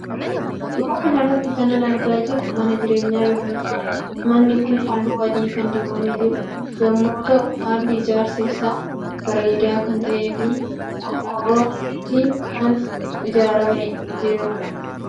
Suura kanarratti kanan argaa jiru mana jireenya yommuu ta'u. Manni Kuni halli adii kan dibamee jiru yommuu ta'uu halli ijaarsa isa bareeda kan ta'eefi qorqoorton isa qorqoortonjabaata kan jedhamu qorqorto adaama kan jedhamu irra kan ijaaramedha